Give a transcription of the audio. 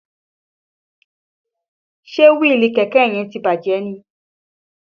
Ṣe wíìlì kẹ̀kẹ́ yẹn ti bàjẹ́ ni?